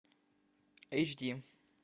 эйч ди